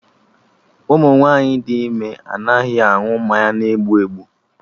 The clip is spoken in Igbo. Ụmụ nwaanyị dị ime anaghị aṅụ mmanya na egbu egbu